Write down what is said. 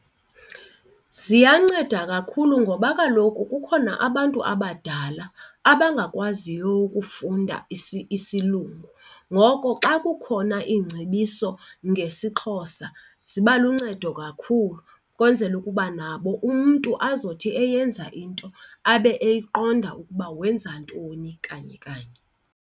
Ziyanceda kakhulu ngoba kaloku kukhona abantu abadala abangakwaziyo ukufunda isilungu. Ngoko xa kukhona iingcebiso ngesiXhosa ziba luncedo kakhulu ukwenzela ukuba nabo umntu azothi eyenza into abe eyiqonda ukuba wenza ntoni kanye kanye.